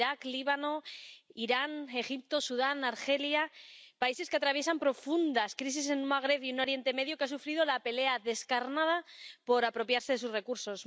Irak, Líbano, Irán, Egipto, Sudán, Argelia países que atraviesan profundas crisis en un Magreb y en un Oriente Medio que han sufrido la pelea descarnada por apropiarse de sus recursos.